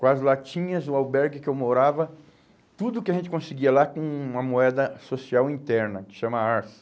Com as latinhas, o albergue que eu morava, tudo que a gente conseguia lá com uma moeda social interna, que se chama arço.